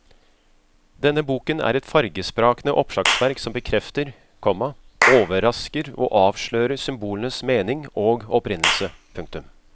Denne boken er et fargesprakende oppslagsverk som bekrefter, komma overrasker og avslører symbolenes mening og opprinnelse. punktum